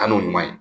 Kanu ɲuman ye